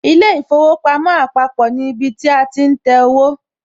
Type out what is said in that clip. ilé īfowòpamó àpapò ní ibi tí a ti ń tẹwó